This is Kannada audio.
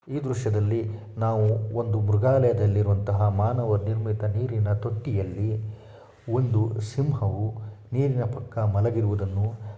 ಈ ದೈಶ್ಯದಲ್ಲಿ ನಾವು ಒಂದು ಮೃಗಾಲಯದಲ್ಲಿರುವಂತಹ ಮಾನವ ನಿರ್ಮಿತ ನೀರಿನ ತೊಟ್ಟಿಯಲ್ಲಿ ಒಂದು ಸಿಂಹವು ನೀರಿನ ಪಕ್ಕ ಮಲಗಿರುವುದನ್ನು --